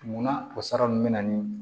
Munna o sara ninnu bɛ na ni